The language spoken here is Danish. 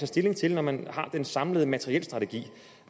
stilling til når man har den samlede materielstrategi